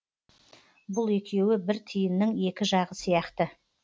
бұл екеуі бір тиынның екі жағы сияқты